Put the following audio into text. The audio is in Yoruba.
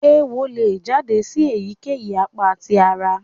Eéwo le jáde sì èyíkéyìí apakan tí àrà.